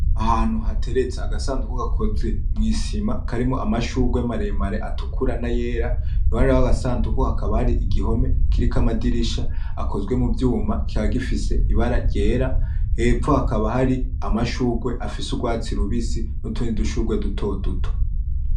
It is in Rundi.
Ahantu hateretse agasanduku gakozwe mwisima karimo amashugwe maremare atukura n,ayera iruhande rwako gasanduku hakaba hari igihome kiriko amadirisha akozwe muvyuma kikaba gifise ibara ryera hepfo hakaba hari amashugwe afise urwatsi rubisi nutundi dushugwe duto duto .